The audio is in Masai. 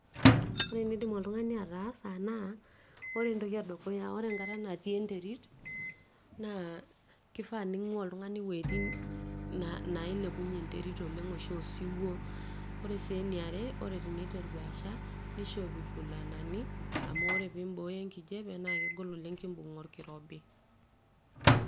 ore enidim oltung'ani ataasa naa ore entoki edukuya ore enkata natii enterit naa kifaa ning'ua oltung'ani wuejitin nailepunyie enterit oleng oshi osiwuo ore sii eniare ore teniteru asha nishopi ifulanani amu ore tenimbooyo enkijape naa kegol oleng kimbung orkirobi.